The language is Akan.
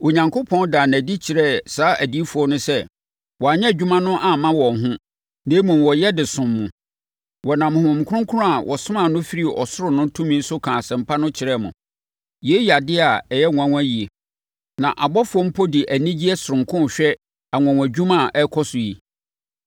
Onyankopɔn daa no adi kyerɛɛ saa adiyifoɔ no sɛ, wɔanyɛ wɔn adwuma no amma wɔn ho, na mmom, wɔyɛ de som mo. Wɔnam Honhom Kronkron a wɔsomaa no firii ɔsoro no tumi so kaa Asɛmpa no kyerɛɛ mo. Yei yɛ adeɛ a ɛyɛ nwanwa yie, na abɔfoɔ mpo de anigyeɛ sononko rehwɛ anwanwadwuma a ɛrekɔ so yi.